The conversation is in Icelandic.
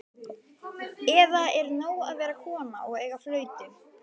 Eða er nóg að vera kona og eiga flautu?